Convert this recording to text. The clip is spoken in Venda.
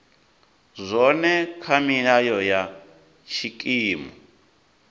zwone kha milayo ya tshikimu